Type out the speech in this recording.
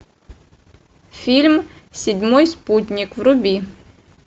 фильм седьмой спутник вруби